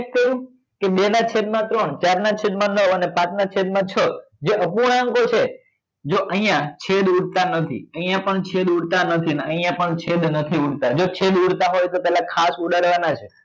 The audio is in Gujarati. કે બે નાં છેદ માં ત્રણ ચાર ના છેદ માં નવ અને પાંચ ના છે માં છ જો અપૂર્ણાંકો છે જો અહિયાં છેદ ઉડતા નથી અહિયાં પણ છેદ ઉડતા નથી ને અહિયાં પણ છેદ નથી ઉડતા જો છેદ ઉડતા હોય તો પેલા ખાસ ઉડાડવા ના જ